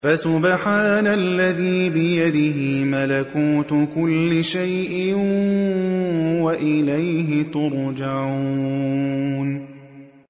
فَسُبْحَانَ الَّذِي بِيَدِهِ مَلَكُوتُ كُلِّ شَيْءٍ وَإِلَيْهِ تُرْجَعُونَ